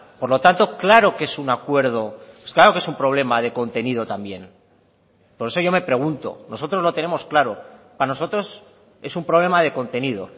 por lo tanto claro que es un acuerdo claro que es un problema de contenido también por eso yo me pregunto nosotros lo tenemos claro para nosotros es un problema de contenido